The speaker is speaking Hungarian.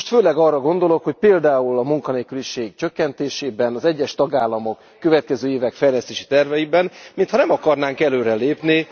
És most főleg arra gondolok, hogy például a munkanélküliség csökkentésében, az egyes tagállamok következő évi fejlesztési terveiben mintha nem akarnánk előre lépni.